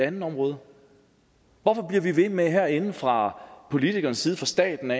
andet område hvorfor bliver vi ved med herinde fra politikernes side fra statens